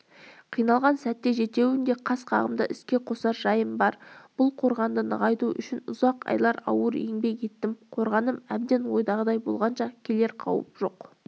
қиналған сәтте жетеуін де қас қағымда іске қосар жайым бар бұл қорғанды нығайту үшін ұзақ айлар ауыр еңбек еттім қорғаным әбден ойдағыдай болғанша келер қауіп жоқ